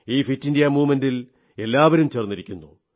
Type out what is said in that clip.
ഈ fit India പ്രസ്ഥാനത്തിൽ എല്ലാവരും ചേർന്നിരിക്കുന്നു